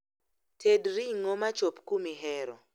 Ted ring'o machop kumihero